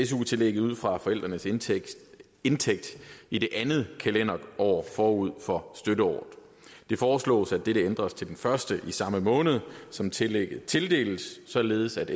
su tillægget ud fra forældrenes indtægt indtægt i det andet kalenderår forud for støtteåret det foreslås at dette ændres til den første i samme måned som tillægget tildeles i således at